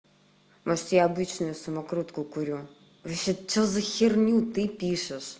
но если я обычную самокрутку курю вообще что за херню ты пишешь